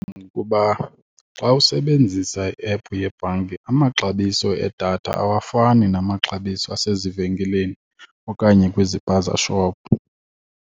Ngokuba xa usebenzisa i-ephu yebhanki amaxabiso edatha awafani namaxabiso asezivenkileni okanye kwiziphaza shop.